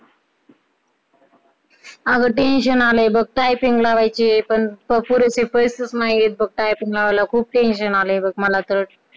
अगं tension आलाय गं, typing लावायची आहे पण, पुरेसे पैसेच नाहीयेत बग typing लावायला खूप tension आलय बग मला तर